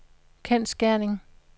kendsgerning